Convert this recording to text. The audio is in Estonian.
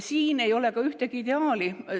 Siin ei ole ka ideaali.